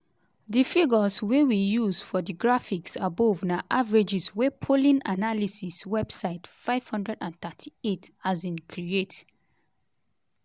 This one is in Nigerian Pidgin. di figures wey we use for di graphics above na averages wey polling analysis website 538 um create.